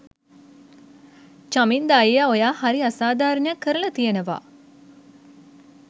චමින්ද අයියා ඔයා හරි අසාධාරනයක් කරල තියනව.